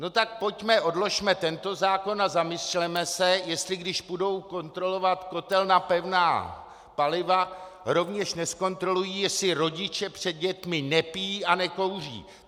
No tak pojďme, odložme tento zákon a zamysleme se, jestli když půjdou kontrolovat kotel na pevná paliva, rovněž nezkontrolují, jestli rodiče před dětmi nepijí a nekouří.